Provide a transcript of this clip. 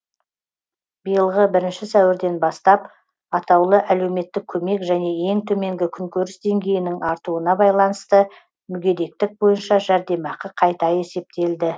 биылғы бірінші сәуірден бастап атаулы әлеуметтік көмек және ең төменгі күнкөріс деңгейінің артуына байланысты мүгедектік бойынша жәрдемақы қайта есептелді